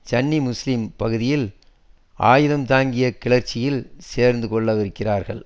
சன்னி முஸ்லிம் பகுதியில் ஆயுதம் தாங்கிய கிளர்ச்சியில் சேர்ந்து கொள்ள விருக்கிறார்கள்